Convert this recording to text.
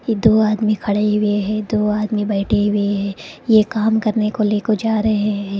ये दो आदमी खड़े हुए है दो आदमी बैठे हुए है ये काम करने को लेको जा रहे हैं।